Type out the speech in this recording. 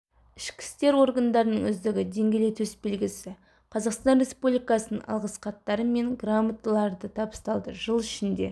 ішкі істер органдарынын үздігі деңгейлі төсбелгісі қазақстан республикасыынң алғыс хаттары мен грамоталары табысталды жыл ішінде